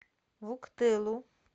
вуктылу